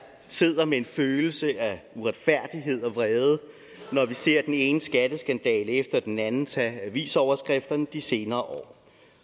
sidder med en følelse af uretfærdighed og vrede når vi ser den ene skatteskandale efter den anden tage avisoverskrifterne i de senere år